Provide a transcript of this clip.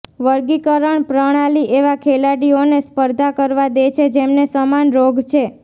વર્ગીકરણ પ્રણાલી એવા ખેલાડીઓને સ્પર્ધા કરવા દે છે જેમને સમાન રોગ છે